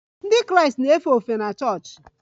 Ndị Kraịst na-efe ofufe na chọọchị